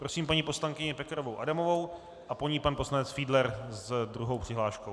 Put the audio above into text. Prosím paní poslankyni Pekarovou Adamovou a po ní pan poslanec Fiedler s druhou přihláškou.